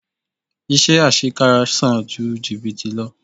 Iṣẹ́ àṣekára san ju jìbìtì lọ.